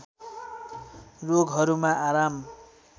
रोगहरूमा आराम